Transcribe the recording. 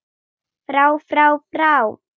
FRÁ FRÁ FRÁ